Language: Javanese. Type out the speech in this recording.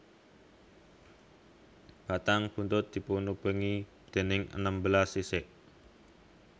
Batang buntut dipunubengi déning enem belas sisik